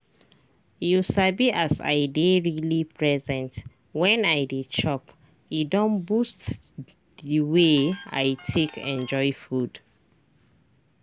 you sabi as i dey really present when i dey chop e don boost the way i take enjoy food.